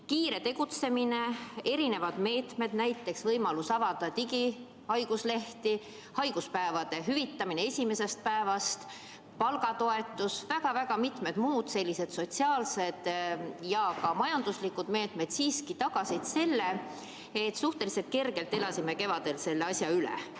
Kiire tegutsemine, erinevad meetmed, näiteks võimalus avada digihaiguslehti, haiguspäevade hüvitamine esimesest päevast, palgatoetus ning väga mitmed muud sotsiaalsed ja ka majanduslikud meetmed siiski tagasid selle, et me elasime kevadel suhteliselt kergelt selle asja üle.